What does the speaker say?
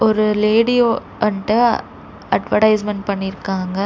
ஒரு லேடியோ அன்ட்ட அட்வர்டைஸ்மென்ட் பண்ணிருக்காங்க.